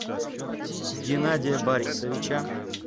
генадия борисовича